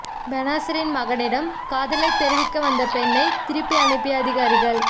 பெனாசிரின் மகனிடம் காதலை தெரிவிக்க வந்த பெண்ணை திருப்பி அனுப்பிய அதிகாரிகள்